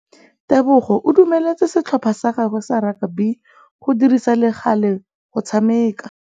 Tebogô o dumeletse setlhopha sa gagwe sa rakabi go dirisa le galê go tshameka.